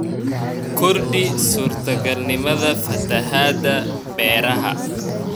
Kordhi suurtagalnimada fatahaadda beeraha.